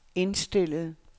indstillet